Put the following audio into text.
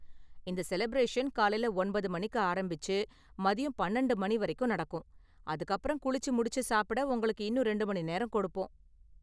இந்த செலபிரேஷன் காலையில ஒன்பது மணிக்கு ஆரம்பிச்சு மதியம் பன்னிரெண்டு மணி வரைக்கும் நடக்கும், அதுக்கு அப்பறம் குளிச்சு முடிச்சு சாப்பிட உங்களுக்கு இன்னும் ரெண்டு மணி நேரம் கொடுப்போம்.